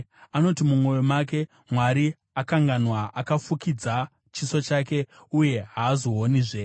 Anoti mumwoyo make, “Mwari akanganwa; akafukidza chiso chake uye haazoonizve.”